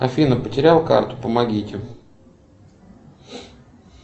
афина потерял карту помогите